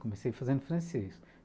Comecei fazendo francês.